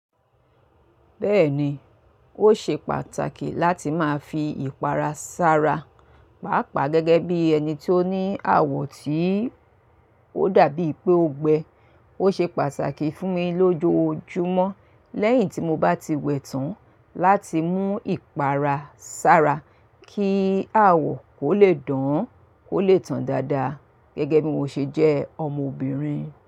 Bẹ́ẹ̀ni, ó ṣe pàtàkì láti máa fi ìpara sára. Pàápàá gẹ́gẹ́ bí ẹni tó ní àwọ̀ tí ó dàbí pé ó gbẹ. Ó ṣe pàtàkì fún mi lójojúmọ́ lẹ́yìn tí mo bá ti wẹ̀ tán láti mú ìpara sára kí àwọ̀ kó lè dán, kó lè tàn dáadáa gẹ́gẹ́ bí mo ṣe jẹ́ ọmọbìnrin.